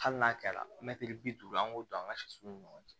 Hali n'a kɛra mɛtiri bi duuru an k'o don an ka sɛsow ni ɲɔgɔn cɛ